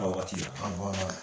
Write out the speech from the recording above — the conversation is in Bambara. A waati la.